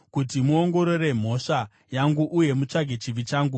kuti muongorore mhosva yangu uye mutsvage chivi changu,